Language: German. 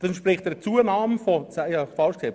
Das ist eine Zunahme von 42 Prozent.